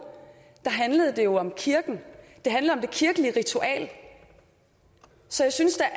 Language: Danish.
handlede det jo om kirken det handlede om det kirkelige ritual så jeg synes da